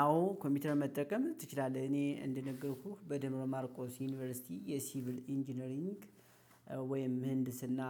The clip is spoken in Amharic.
አዎ ኮምፒውተር መጠቀም ትችላለህ እኔ እንደነገርኩህ በደብረ ማርቆስ ዩኒቨርሲቲ የሲቪል ኢንጂነሪንግ ወይም ምህንድስና።